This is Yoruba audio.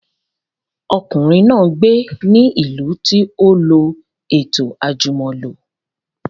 Ọmọkùnrin náà gbé ní ìlú tí ó lọ ètò àjùmọ̀lo